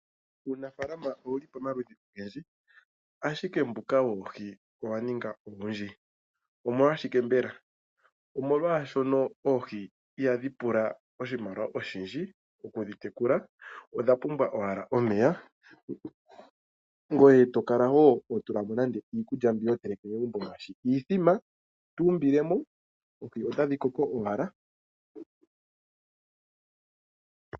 Uunafaalama owuli pomaludhi ogendji ,ashike mbuka woohi owaningi owundji. Omolwashike mbela ? Omolwashono oohi ihadhi pula oshimaliwa oshindji oku dhi tekula odhapumbwa owala omeya ngoye tokala woo hotulamo nande iikulya mbi hoteleke megumbo ngaashi iithima oohi otadhi koko owala.